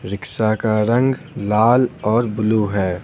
Rickshaw का रंग लाल और ब्लू है।